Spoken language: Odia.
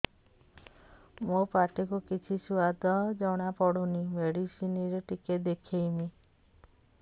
ମୋ ପାଟି କୁ କିଛି ସୁଆଦ ଜଣାପଡ଼ୁନି ମେଡିସିନ ରେ ଟିକେ ଦେଖେଇମି